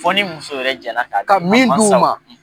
Fo ni muso yɛrɛ jɛnna ɛ ka di mansaw ma, ka min d'u ma.